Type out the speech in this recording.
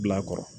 Bila kɔrɔ